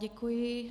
Děkuji.